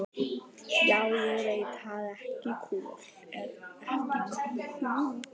Já, ég veit það er ekki kúl.